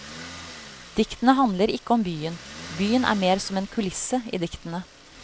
Diktene handler ikke om byen, byen er mer som en kulisse i diktene.